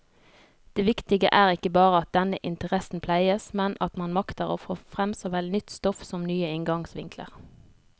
Det viktige er ikke bare at denne interessen pleies, men at man makter få frem såvel nytt stoff som nye inngangsvinkler.